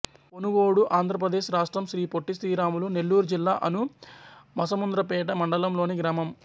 పొనుగోడు ఆంధ్ర ప్రదేశ్ రాష్ట్రం శ్రీ పొట్టి శ్రీరాములు నెల్లూరు జిల్లా అనుమసముద్రంపేట మండలం లోని గ్రామం